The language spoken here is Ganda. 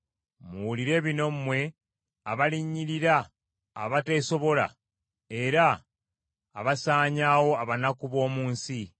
Muwulire bino mmwe abalinnyirira abateesobola, era abasaanyaawo abanaku b’omu nsi,